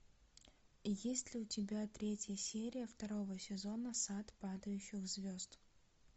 есть ли у тебя третья серия второго сезона сад падающих звезд